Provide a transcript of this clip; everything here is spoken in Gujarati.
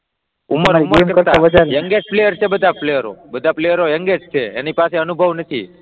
ઉમર કરતાં, યંગેસ્ટ પ્લેયર છે બધા પ્લેયર્સ, બધા પ્લેયર્સ યંગેસ્ટ છે તેની પાસે અનુભવ નથી.